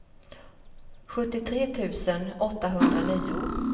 sjuttiotre tusen åttahundranio